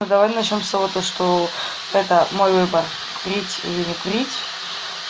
а давай начнём с того то что это мой выбор курить или не курить